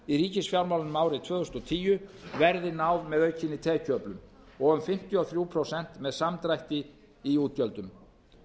í ríkisfjármál um árið tvö þúsund og tíu verði náð með aukinni tekjuöflun og um fimmtíu og þrjú prósent með samdrætti í útgjöldum